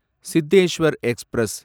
Cheteshwar express